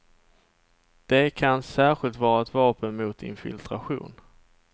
De kan särskilt vara ett vapen mot infiltration.